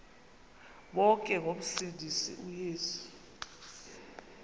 bonke ngomsindisi uyesu